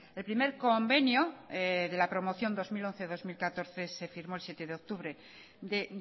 el primer convenio de la promoción dos mil once dos mil catorce se firmó el siete de octubre de